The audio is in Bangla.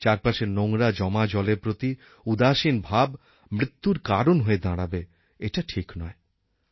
চারপাশের নোংরা জমা জলের প্রতি উদাসীন ভাব মৃত্যুর কারণ হয়ে দাঁড়াবে এটা ঠিক নয়